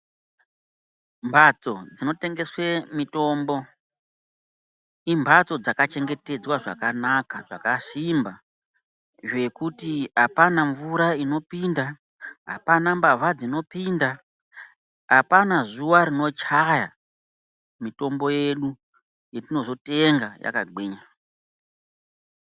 Mbatso dzinotengeswe mitombo, imbatso dzakachengetedzwa zvakanaka, zvakasimba zvekuti apana mvura inopinda, apana mbavha dzinopinda, apana zuwa rinochaya mitombo yedu, yetinozotenga yakagwinya.